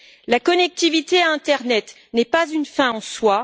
La connectivité Internet n'est pas une fin en soi.